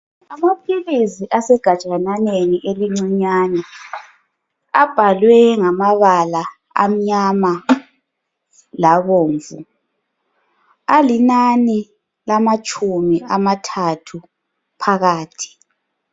Amaphilisi asegajanyaneni elincinyane abhalwe ngamabalana amnyama labomvu alinani lamatshumi amathathu phakathi